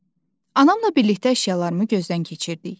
Anamla birlikdə əşyalarımı gözdən keçirdik.